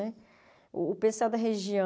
Né o pessoal da região,